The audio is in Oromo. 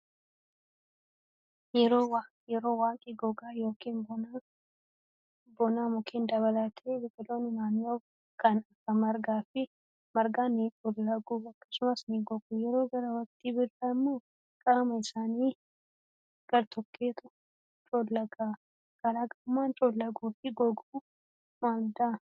Yeroo waqii gogaa yookaan bonaa mukkeen dabalatee biqiloonni naannoo kan akka margaa ni coollagu akkasumas ni gogu. Yeroo gara waqtii birraa immoo qaama isaanii gartokkeetu coolaga. Garaagarummaan coollaguu fi goguu maalidhaa?